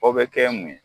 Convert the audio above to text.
O bɛ kɛ mun ye